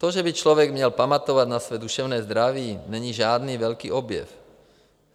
To, že by člověk měl pamatovat na své duševní zdraví, není žádný velký objev.